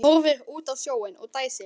Horfir út á sjóinn og dæsir.